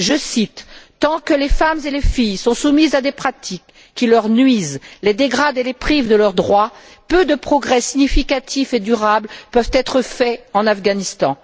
Je cite Tant que les femmes et les filles sont soumises à des pratiques qui leur nuisent, les dégradent et les privent de leurs droits, peu de progrès significatifs et durables peuvent être faits en Afghanistan.